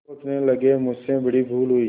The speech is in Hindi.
सोचने लगेमुझसे बड़ी भूल हुई